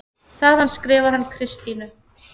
Þaðan skrifar hann Kristínu